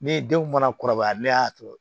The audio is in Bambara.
Ne denw mana kɔrɔbaya ne y'a to